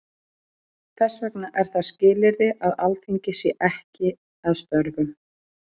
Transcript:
Þess vegna er það skilyrði að Alþingi sé ekki að störfum.